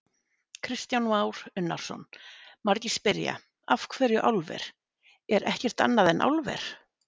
Kristján Már Unnarsson: Margir spyrja: Af hverju álver, er ekkert annað en álver?